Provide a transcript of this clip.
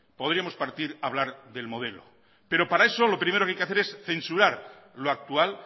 a hablar del modelo pero para eso lo primero que hay que hacer es censurar lo actual